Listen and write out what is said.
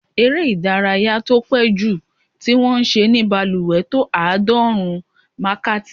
Eré ìdárayá tí ó pé jùlọ tí wọ́n ṣe ní balùwẹ̀ tó àádọ́rùn-ún wákàtí.